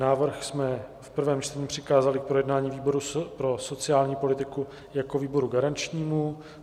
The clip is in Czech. Návrh jsme v prvém čtení přikázali k projednání výboru pro sociální politiku jako výboru garančnímu.